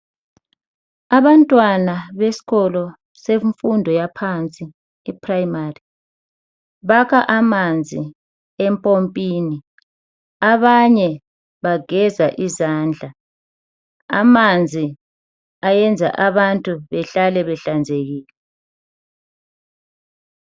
Abantwana besikolo semfundo yaphansi e primary bakha amanzi empompini, abanye bageza izandla, amanzi ayenza abantu behlale behlanzekile